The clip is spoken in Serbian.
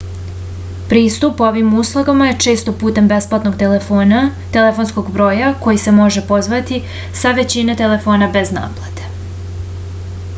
pristup ovim uslugama je često putem besplatnog telefonskog broja koji se može pozvati sa većine telefona bez naplate